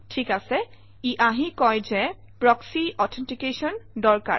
ঠিক আছে ই আহি কয় যে প্ৰক্সী অথেণ্টিকেশ্যন দৰকাৰ